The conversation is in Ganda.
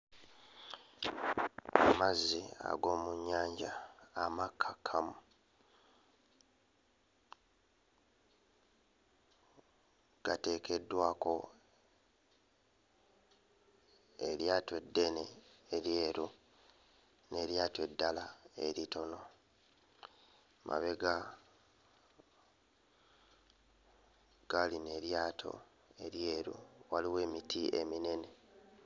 Amazzi ag'omu nnyanja amakkakkamu gateekeddwako eryato eddene eryeru n'eryato eddala eritono, mabega ga lino eryato eryeru waliwo emiti eminene.